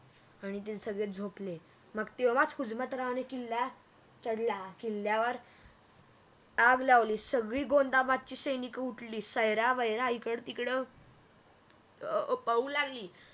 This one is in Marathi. आणि ते सगळे झोपले मग तेव्हाच हुजमतरावणे किल्ला चढला किल्ल्यावर हम्म आग लावली सगळी गोंदाबादची सैनिक उठली सैरा वैरा इकड तिकड अं पळू लागली